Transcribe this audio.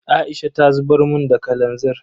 Aisha ta zubar mun da kalanzir.